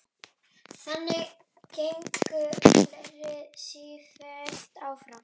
Þannig gengur ferlið sífellt áfram.